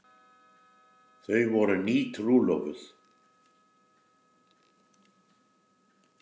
Þau voru nýtrúlofuð.